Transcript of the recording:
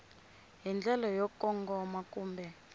hi ndlela yo kongoma kumbe